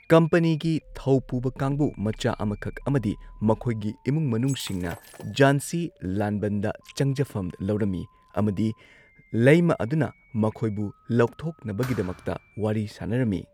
ꯀꯝꯄꯅꯤꯒꯤ ꯊꯧ ꯄꯨꯕ ꯀꯥꯡꯕꯨ ꯃꯆꯥ ꯑꯃꯈꯛ ꯑꯃꯗꯤ ꯃꯈꯣꯏꯒꯤ ꯏꯃꯨꯡ ꯃꯅꯨꯡꯁꯤꯡꯅ ꯓꯥꯟꯁꯤ ꯂꯥꯟꯕꯟꯗ ꯆꯪꯖꯐꯝ ꯂꯧꯔꯝꯃꯤ꯫ ꯑꯃꯗꯤ ꯂꯩꯃꯥ ꯑꯗꯨꯅ ꯃꯈꯣꯢꯕꯨ ꯂꯧꯊꯣꯛꯅꯕꯒꯤꯗꯃꯛꯇ ꯋꯥꯔꯤ ꯁꯥꯅꯔꯝꯃꯤ꯫